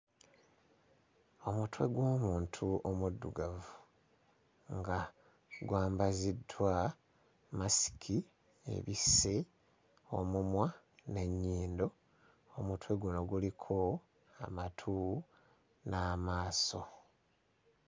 Omutwe gw'omuntu omuddugavu nga gwambaziddwa masiki ebisse omumwa n'ennyindo, omutwe guno guliko amatu n'amaaso.